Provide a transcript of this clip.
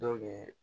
Don bɛ